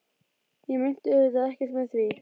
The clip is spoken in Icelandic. Ég meinti auðvitað ekkert með því.